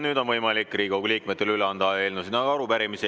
Nüüd on võimalik Riigikogu liikmetel üle anda eelnõusid ja arupärimisi.